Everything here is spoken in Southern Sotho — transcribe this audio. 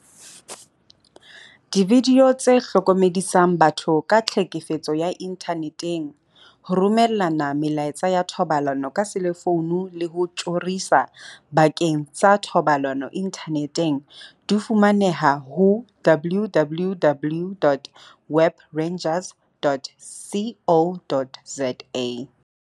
Dividio tse hlokomedisang batho ka tlhekefetso ya inthane teng, ho romellana melaetsa ya thobalano ka selefouno le ho tjhorisa bakeng sa thobalano inthaneteng, di fumaneha ho www.webrangers.co.za.